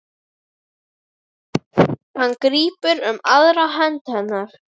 Hann grípur um aðra hönd hennar.